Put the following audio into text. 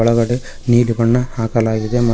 ಒಳಗಡೆ ನೀಲಿ ಬಣ್ಣ ಹಾಕಲಾಗಿದೆ ಮ--